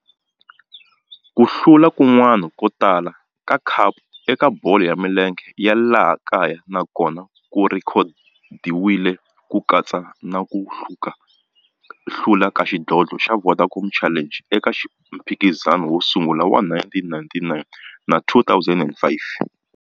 Ku hlula kun'wana ko tala ka khapu eka bolo ya milenge ya laha kaya na kona ku rhekhodiwile, ku katsa na ku hlula ka xidlodlo xa Vodacom Challenge eka mphikizano wo sungula wa 1999 na 2005.